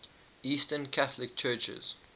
eastern catholic churches